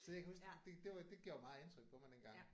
Så jeg kan huske det det var det gjorde meget indtryk på mig dengang